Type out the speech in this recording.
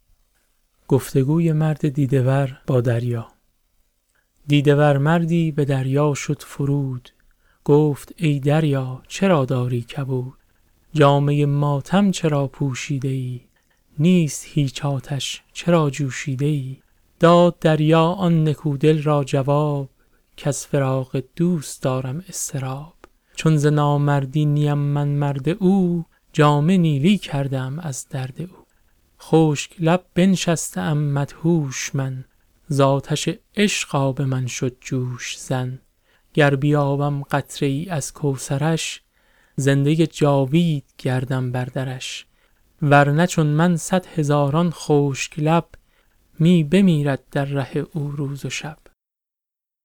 دیده ور مردی به دریا شد فرود گفت ای دریا چرا داری کبود جامه ماتم چرا پوشیده ای نیست هیچ آتش چرا جوشیده ای داد دریا آن نکو دل را جواب کز فراق دوست دارم اضطراب چون ز نامردی نیم من مرد او جامه نیلی کرده ام از درد او خشک لب بنشسته ام مدهوش من زآتش عشق آب من شد جوش زن گر بیابم قطره ای از کوثرش زنده جاوید گردم بر درش ورنه چون من صد هزاران خشک لب می بمیرد در ره او روز و شب